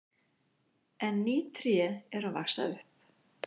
En ný tré eru að vaxa upp.